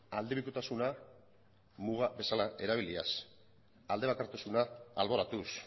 aldebikotasuna muga bezala erabiliaz aldebakartasuna alboratuz